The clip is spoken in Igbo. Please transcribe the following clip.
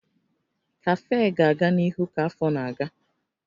Kafee ga-aga n'ihu ka afọ na-aga